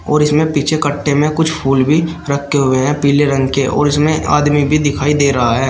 और इसमें पीछे कट्टे में कुछ फूल भी रखे हुए हैं पीले रंग के और इसमें आदमी भी दिखाई दे रहा है।